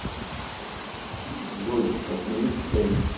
джой отмените таймер